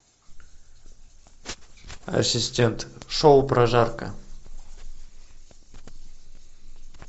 ассистент шоу прожарка